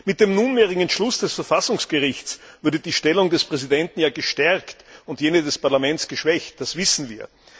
Mit dem nunmehrigen Entschluss des Verfassungsgerichts würde die Stellung des Präsidenten ja gestärkt und jene des Parlaments geschwächt, das wissen wir.